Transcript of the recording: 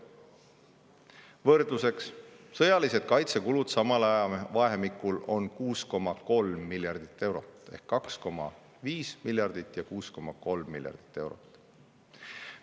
Võrdluseks: sõjalised kaitsekulud samal ajavahemikul on 6,3 miljardit eurot, ehk 2,5 miljardit ja 6,3 miljardit eurot.